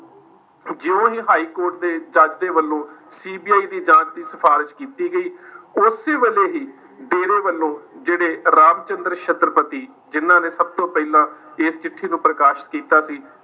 ਜੋ ਇਹ ਹਾਈਕੋਰਟ ਦੇ ਜੱਜ ਦੇ ਵੱਲੋਂ CBI ਦੀ ਜਾਂਚ ਦੀ ਸਿਫਾਰਿਸ਼ ਕੀਤੀ ਗਈ ਉਸੇ ਵੇਲੇ ਹੀ ਡੇਰੇ ਵੱਲੋਂ ਜਿਹੜੇ ਰਾਮਚੰਦਰ ਛਤਰਪਤੀ ਜਿਹਨਾਂ ਨੇ ਸਭ ਤੋਂ ਪਹਿਲਾਂ ਇਸ ਚਿੱਠੀ ਨੂੰ ਪ੍ਰਕਾਸ਼ ਕੀਤਾ ਸੀ,